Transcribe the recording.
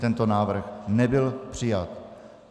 Tento návrh nebyl přijat.